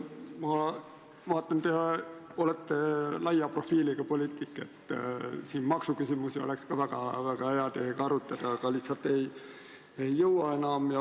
Ma vaatan, te olete laia profiiliga poliitik: maksuküsimusi oleks ka väga hea teiega arutada, aga lihtsalt ei jõua enam.